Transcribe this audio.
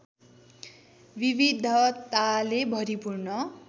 विविधताले भरिपूर्ण